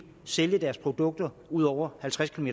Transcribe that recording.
sælge deres produkter ud over halvtreds km